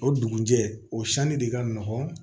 O dugujɛ o sani de ka nɔgɔn